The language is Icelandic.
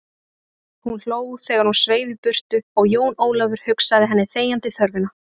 Hún hló þegar hún sveif í burtu og Jón Ólafur hugsað henni þegjandi þörfina.